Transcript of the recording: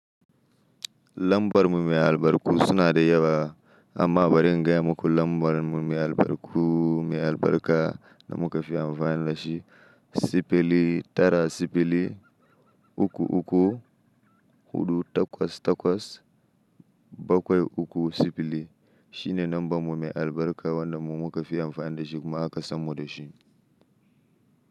Lambar mu mai albarku suna da yawa. Amma bari in gaya muku lambar mu mai albarku mai albarka da muka fi amfani da shi. Sifili tara sifili, uku uku, huɗu takwas takwas, bakwai uku sifili. Shi ne lambar mu mai albarka wanda mu muka fi amfani da shi kuma aka samo shi.